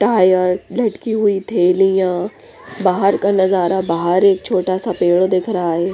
Tyre लटकी हुई थैलियाँ बाहर का नजारा बाहर एक छोटा सा पेड़ दिख रहा हैं।